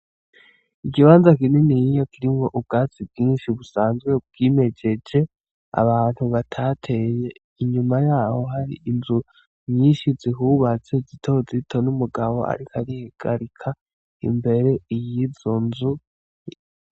Ikibanza kininiya kirimwo ubwatsi bwinshi busanzwe bwimejeje abantu batateye, inyuma yaho hari inzu nyinshi zihubatse zito zito, n'umugabo ariko arihagarika imbere yizo nzu.